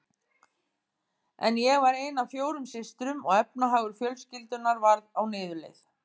En ég var ein af fjórum systrum og efnahagur fjölskyldunnar var á niðurleið.